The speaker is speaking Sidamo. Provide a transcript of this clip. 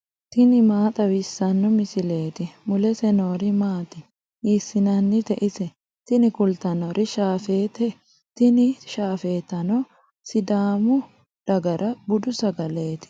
tini maa xawissanno misileeti ? mulese noori maati ? hiissinannite ise ? tini kultannori shaafeetate, tini shaafeetano sidaamu dagara budu sagaleeti.